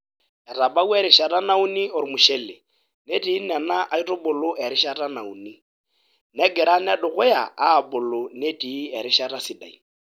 Etabawua erishata nauni ormushle, netii nena aitubuluerishata nauni, negira nedukuya aabulu netii erishata sidai.